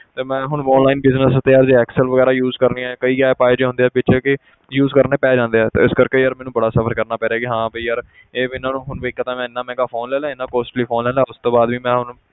ਤੇ ਮੈਂ ਹੁਣ online business ਦੇ ਉੱਤੇ ਆਪਦੀ excel ਵਗ਼ੈਰਾ use ਕਰਨੀ ਹੈ ਕਈ app ਇਹ ਜਿਹੇ ਹੁੰਦੇ ਆ ਵਿੱਚ ਕਿ use ਕਰਨੇ ਪੈ ਜਾਂਦੇ ਆ ਤੇ ਇਸ ਕਰਕੇ ਯਾਰ ਮੈਨੂੰ ਬੜਾ suffer ਕਰਨਾ ਪੈ ਰਿਹਾ ਕਿ ਹਾਂ ਵੀ ਯਾਰ ਇਹ ਵੀ ਇਹਨਾਂ ਨੂੰ ਹੁਣ ਵੀ ਇੱਕ ਤਾਂ ਮੈਂ ਇੰਨਾ ਮਹਿੰਗਾ phone ਲੈ ਲਿਆ ਇੰਨਾ costly phone ਲੈ ਲਿਆ ਉਸ ਤੋਂ ਬਾਅਦ ਵੀ ਮੈਂ ਹੁਣ,